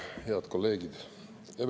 Head kolleegid!